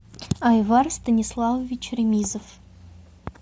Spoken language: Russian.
айвар станиславович ремизов